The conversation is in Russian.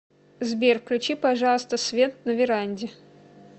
сбер включи пожалуйста свет на веранде